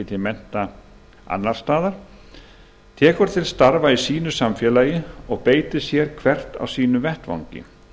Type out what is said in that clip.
til mennta annars staðar tekur til starfa í samfélaginu og beitir sér hvert á sínum vettvangi